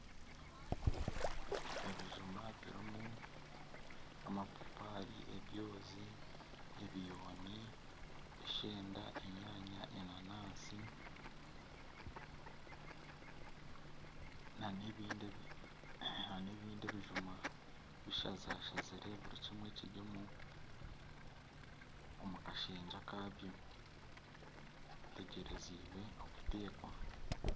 Ebijuma birimu amapapaari, ebyozi, ebiyooni, eshenda, enyaanya, enanansi, n'ebindi ebijuma bishazashazire buri kimwe kiri omu, omu kashengye akabyo bitegyerezeibwe okuteekwa.